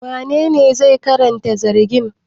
Wanene zai karanta zargin?